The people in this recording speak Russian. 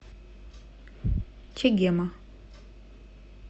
чегема